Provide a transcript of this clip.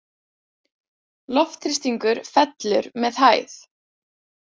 Loftþrýstingur fellur með hæð.